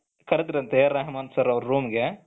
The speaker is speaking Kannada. ಕರದ್ರಂತೆ AR ರೆಹಮಾನ್ ಸರ್ ಅವರ room ಗೆ